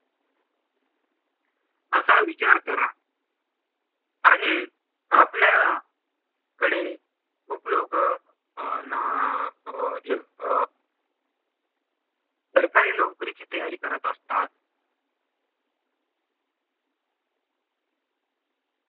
असा विचार करा आणि आपल्या कडे खूप लोक सरकारी नोकरीची तयारी करत असतात